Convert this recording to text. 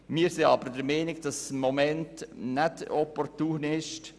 Wir sind aber der Meinung, dass dergleichen gegenwärtig nicht opportun ist.